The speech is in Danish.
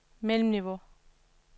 mellemniveau